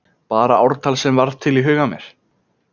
Bara ártal sem varð til í huga mér.